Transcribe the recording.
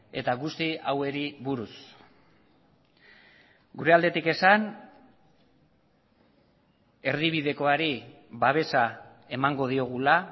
eta guzti hauei buruz gure aldetik esan erdibidekoari babesa emango diogula